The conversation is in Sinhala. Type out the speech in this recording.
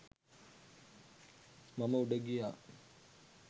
මම උඩ ගියා.